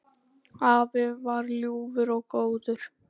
Afi var ljúfur og góður.